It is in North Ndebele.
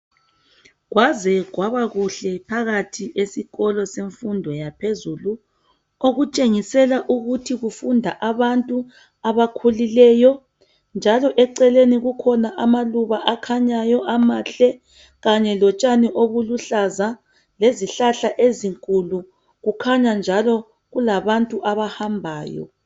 Kwaze kwaba kuhle phakathi esikolo semfundo yaphezulu okutshengisela ukuthi kufunda abantu abakhulileyo njalo eceleni kukhona amaluba akhanyayo amahle kanye lotshani obuluhlaza lezihlahla ezinkulu kukhanya njalo kulabantu abahambayo